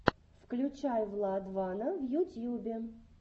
включай владвана в ютьюбе